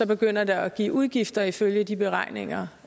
begynder det at give udgifter ifølge de beregninger